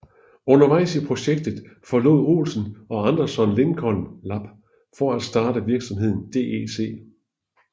Undervejs i projektet forlod Olsen og Anderson Lincoln Lab for at starte virksomheden DEC